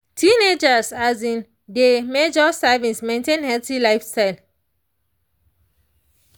teenagers um dey measure servings maintain healthy lifestyle.